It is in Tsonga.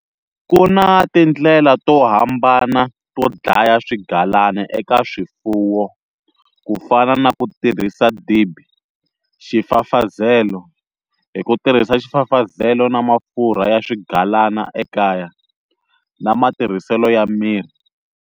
Ku na tindlela to hambana to dlaya swigalana eka swifuwo ku fna na ku tirhisa dibi, xifafazelo, hi ku tirhisa xifafazelo na mafurha ya swigalana ekaya, na matirhiselo ya mirhi.